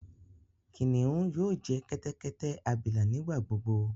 Kiniun yoo jẹ kẹtẹkẹtẹ abila nigbagbogbo.